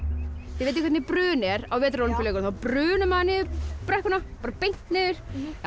þið vitið hvernig brun er á Vetrarólympíuleikunum þá brunar maður niður brekkuna bara beint niður